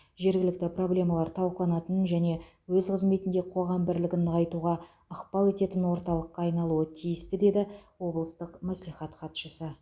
жергілікті проблемалар талқыланатын және өз қызметінде қоғам бірлігін нығайтуға ықпал ететін орталыққа айналуы тиісті деді облыстық мәслихат хатшысы